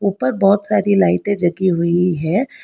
ऊपर बहुत सारी लाइटें जगी हुई है।